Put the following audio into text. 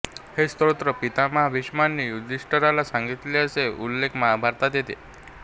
हे स्तोत्र पितामह भीष्मानी युधिष्ठिराला सांगितले असा उल्लेख महाभारतात येतो